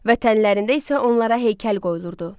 Vətənlərində isə onlara heykəl qoyulurdu.